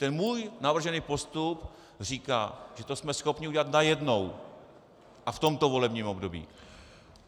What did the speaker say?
Ten můj navržený postup říká, že to jsme schopni udělat najednou a v tomto volebním období.